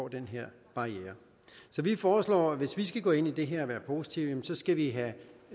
den her barriere så vi foreslår hvis vi skal gå ind i det her og være positive